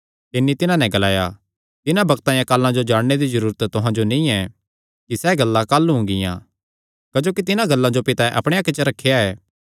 तिन्नी तिन्हां नैं ग्लाया तिन्हां बग्तां या कालां जो जाणने दी जरूरत तुहां जो नीं ऐ कि सैह़ गल्लां काह़लू हुंगिया क्जोकि तिन्हां गल्लां जो पितैं अपणे हक्के च रखेया ऐ